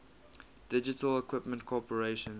digital equipment corporation